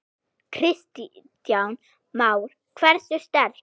Kristján Már: Hversu sterkt?